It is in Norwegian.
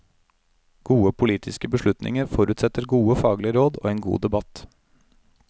Gode politiske beslutninger forutsetter gode faglige råd og en god debatt.